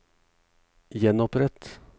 gjenopprett